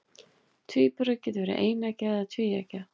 Tvíburar geta verið eineggja eða tvíeggja.